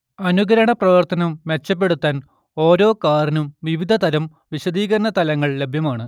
അനുകരണ പ്രവർത്തനം മെച്ചപ്പെടുത്താൻ ഓരോ കാറിനും വിവിധ തരം വിശദീകരണ തലങ്ങൾ ലഭ്യമാണ്